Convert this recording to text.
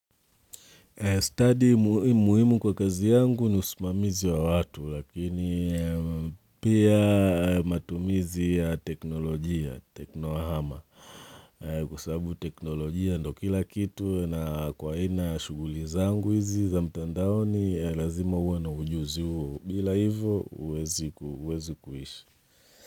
Studi muhimu kwa kazi yangu ni usimamizi wa watu, lakini pia matumizi ya teknolojia, teknohama, kwa sababu teknolojia ndo kila kitu na kwa haina shughuli zangu hizi za mtandaoni, lazima uwe na ujuzi huo. Bila hivyo, huwezi kuishi.